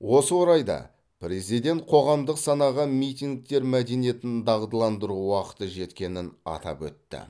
осы орайда президент қоғамдық санаға митингтер мәдениетін дағдыландыру уақыты жеткенін атап өтті